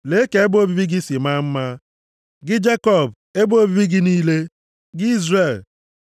“Lee ka ebe obibi gị si maa mma, gị Jekọb, ebe obibi gị niile, gị Izrel!